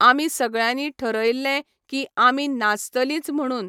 आमी सगळ्यानी ठरयल्लें की आमी नाचतलींच म्हणून.